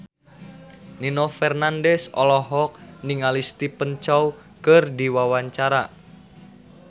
Nino Fernandez olohok ningali Stephen Chow keur diwawancara